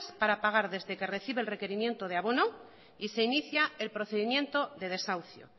para pagar desde que recibe el requerimiento de abono y se inicia el procedimiento de desahucio